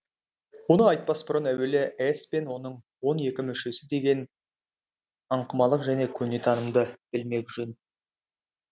оны айтпас бұрын әуелі ес пен оның он екі мүшесі деген аңқымалық көне танымды білмек жөн